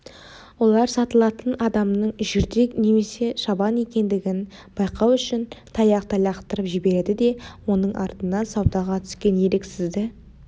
олар сатылатын адамның жүрдек немесе шабан екендігін байқау үшін таяқты лақтырып жібереді де оның артынан саудаға түскен еріксізді